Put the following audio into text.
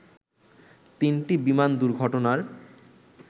তিনটি বিমান দুর্ঘটনার